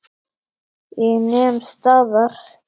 Ég nem staðar.